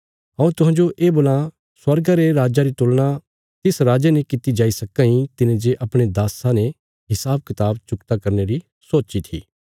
हऊँ तुहांजो ये बोलां स्वर्गा रे राज्जा री तुलना तिस राजे ने कित्ती जाई सक्कां इ तिने जे अपणे दास्सां ने हिसाबकताब चुकता करने री सोच्ची थी